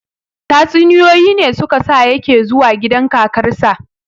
Tatsuniyoyi ne su ka sa ya ke zuwa gidan kakarsa